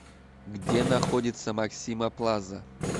где находится максима плаза